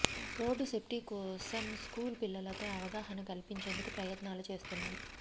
road safety కోసం school పిల్లలతో అవగాహన కల్పించేందుకు ప్రయత్నాలు చేస్తున్నాం